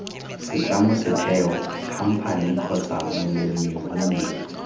setlamo setheo khamphane kgotsa molemirui